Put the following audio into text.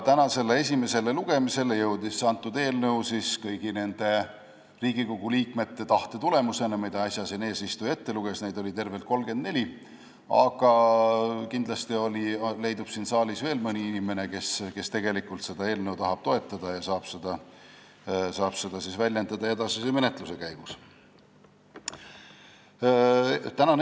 Tänasele esimesele lugemisele jõudis see eelnõu kõigi nende Riigikogu liikmete tahte tulemusena, kelle nimed äsja eesistuja siin ette luges, neid oli tervelt 34, aga kindlasti leidub siin saalis veel mõni inimene, kes tahab seda eelnõu toetada ja saab seda tahet väljendada edasise menetluse käigus.